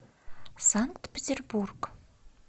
санкт петербург